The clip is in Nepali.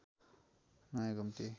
नयाँ घुम्ती